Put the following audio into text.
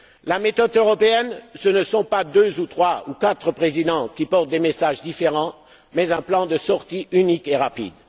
La méthode européenne, ce ne sont pas deux, trois ou quatre Présidents qui portent des messages différents, mais un plan de sortie unique et rapide.